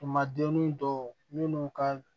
Tuma denni dɔw minnu ka